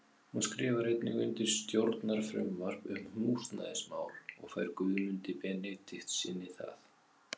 Hún skrifar einnig undir stjórnarfrumvarp um húsnæðismál og fær Guðmundi Benediktssyni það.